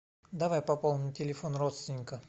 давай пополним телефон родственника